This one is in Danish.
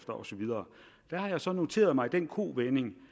og så videre der har jeg så noteret mig den kovending